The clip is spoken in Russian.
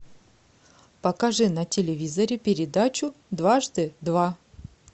покажи на телевизоре передачу дважды два